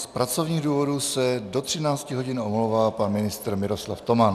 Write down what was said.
Z pracovních důvodů se do 13 hodin omlouvá pan ministr Miroslav Toman.